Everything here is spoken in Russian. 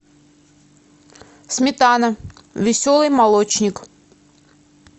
сметана веселый молочник